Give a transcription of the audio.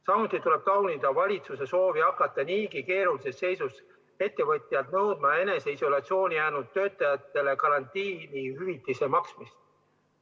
Samuti tuleb taunida valitsuse soovi hakata niigi keerulises seisus ettevõtjailt nõudma eneseisolatsiooni jäänud töötajatele karantiini jäämise hüvitiste maksmist.